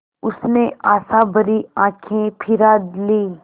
उसने आशाभरी आँखें फिरा लीं